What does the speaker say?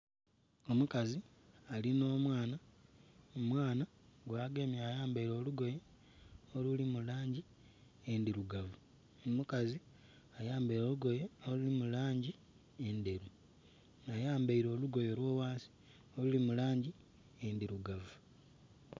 Omukazi alina omwana, omwana gwagemye alina olugoye oluli mu langi endhirugavu omukazi ayambaire olugoye oluli mu langi endheru ayambaire olugoye olwaghansi luli mu langi endirugavu